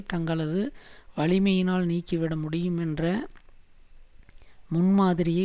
தங்களது வலிமையினால் நீக்கிவிட முடியும் என்ற முன்மாதிரியை